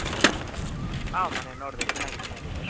ಹ ಮೊನ್ನೆ ನೋಡ್ದೆ ಚೆನ್ನಾಗಿತ್ತು ನಡೀತು.